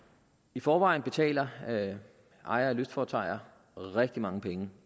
i forvejen betaler ejere af lystfartøjer rigtig mange penge